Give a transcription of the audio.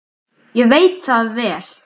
Ég veit það vel!